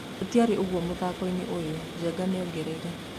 Tũtiarĩ ũguo mũthakoinĩ ũyũ, " Njenga nĩongereire.